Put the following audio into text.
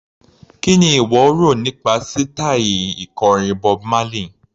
Kí ni ìwọ rò nípa sítaì ikọrin Bob Marley?